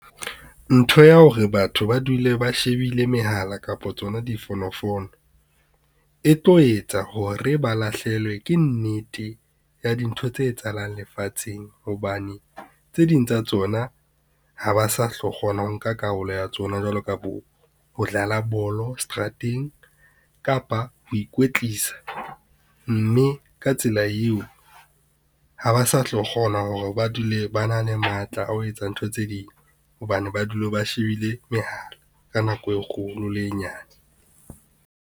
Ntho ya hore batho ba dule ba shebile mehala kapa tsona difonofono, e tlo etsa hore ba lahlehelwe ke nnete ya dintho tse etsahalang lefatsheng. Hobane tse ding tsa tsona ha ba sa tlo kgona ho nka karolo ya tsona jwalo ka bo ho dlala bolo seterateng, kapa ho ikwetlisa, mme ka tsela eo, ha ba sa tlo kgona hore ba dule ba na le matla a ho etsa ntho tse ding hobane ba dula ba shebile mehala ka nako e kgolo le e nyane.